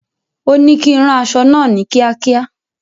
Òní kí ń rán aṣọ náà ni kiakia